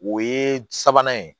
O ye sabanan ye